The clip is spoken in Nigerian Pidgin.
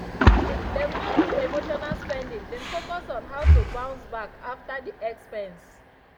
dem no do emotional spending dem focus on how to bounce back after the expense.